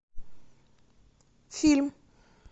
фильм